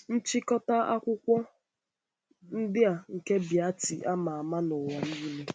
Nchịkọta akwụkwọ Nchịkọta akwụkwọ ndị a nke Beatty ama ama n'ụwa niile.